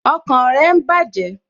Ọkàn rẹ ń bàjẹ́